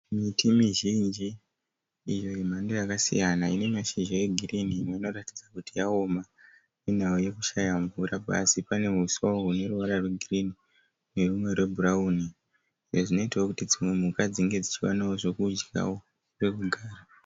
Miti mizhinji iyo yemhando yakasiyana ine mashizha e girini mamwe anoratidza kuti yaoma nenhau nekushaya mvura. Pasi pane huswa hune ruwara rwe girini ne bhurauni izvo zvinoitao kuti mhuka dzinge dzichiwana zvekudyao ne pekugara.